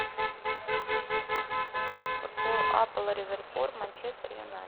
футбол апл ливерпуль манчестер юнайтед